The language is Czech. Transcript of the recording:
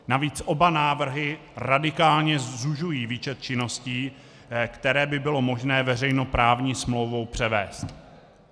Navíc oba návrhy radikálně zužují výčet činností, které by bylo možné veřejnoprávní smlouvou převést.